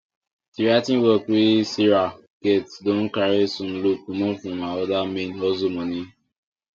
the writing work wey sarah get don carry some load comot from her other main hustle money